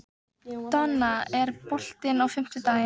Donna, er bolti á fimmtudaginn?